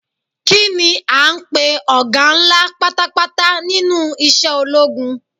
Kini a ń pe ọga ńlá pátápátá nínú isẹ́ ológun?